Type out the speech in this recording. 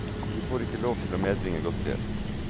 De får ikke lov til å medbringe godterier.